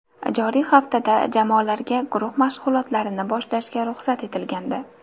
Joriy haftada jamoalarga guruh mashg‘ulotlarini boshlashga ruxsat etilgandi.